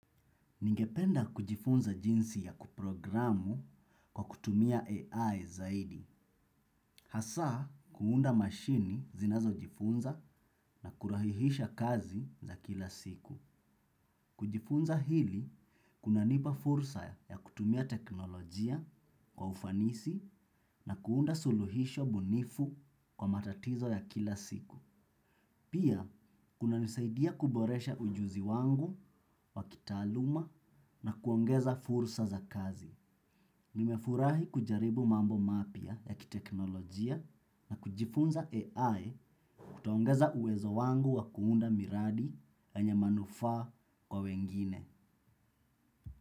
Ningependa kujifunza jinsi ya kuprogramu, kwa kutumia AI zaidi. Hasaa kuunda mashini zinazo jifunza na kurahisisha kazi za kila siku. Kujifunza hili, kuna nipa fursa ya kutumia teknolojia kwa ufanisi na kuunda suluhisho bunifu kwa matatizo ya kila siku. Pia, kuna nisaidia kuboresha ujuzi wangu wa kitaaluma na kuongeza fursa za kazi. Nimefurahi kujaribu mambo mapya ya kiteknolojia na kujifunza AI kutaongeza uwezo wangu wa kuunda miradi yenye manufaa kwa wengine.